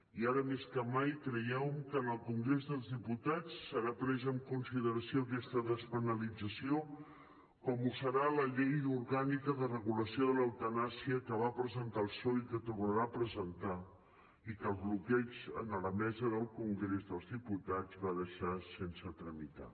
i ara més que mai creiem que en el congrés dels diputats serà presa en consideració aquesta despenalització com ho serà la llei orgànica de regulació de l’eutanàsia que va presentar el psoe i que tornarà a presentar i que el bloqueig en la mesa del congrés dels diputats va deixar sense tramitar